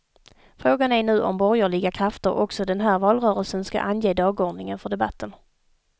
Frågan är nu om borgerliga krafter också den här valrörelsen ska ange dagordningen för debatten.